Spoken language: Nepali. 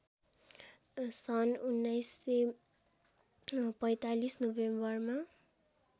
सन् १९४५ नोभेम्बरमा